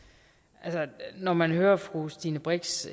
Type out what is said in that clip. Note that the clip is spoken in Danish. altså når man hører fru stine brix